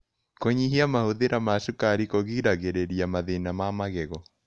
Kũnyĩhĩa mahũthĩra ma cũkarĩ kũgĩragĩrĩrĩa mathĩna ma magego